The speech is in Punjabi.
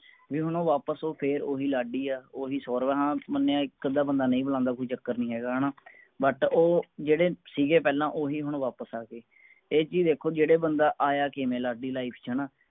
ਬੀ ਹੁਣ ਉਹ ਵਾਪਸ ਓਹੀ ਫੇਰ ਲਾਡੀ ਹੈ ਓਹੀ ਸੌਰਵ ਹੈ ਹਾਂ ਮਨਯਾ ਇਕ ਅਦਾ ਬੰਦਾ ਨਹੀਂ ਬੁਲਾਂਦਾ ਕੋਈ ਚਕਰ ਨੀ ਹਣਾ but ਉਹ ਜੇਡੇ ਸੀਗੇ ਪਹਿਲਾ ਓਹੀ ਹੁਣ ਵਾਪਸ ਅੱਗੇ ਇਹ ਚੀਜ ਦੇਖੋ ਜੇਡੇ ਬੰਦਾ ਆਯਾ ਕਿਵੇਂ ਲਾਡੀ life ਚ ਹੈਨਾ